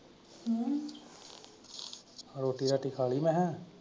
ਹੋਰ ਰੋਟੀ ਰਾਟੀ ਖਾ ਲਈ ਮਖਾਂ।